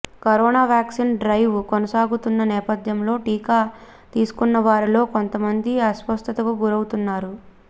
corona vaccine drive కొనసాగుతున్న నేపథ్యంలో టీకా తీసుకున్నవారిలో కొంతమంది అస్వస్థతకు గురవుతున్నారు